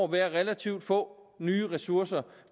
være relativt få nye ressourcer